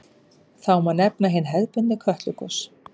Þá má nefna hin hefðbundnu Kötlugos.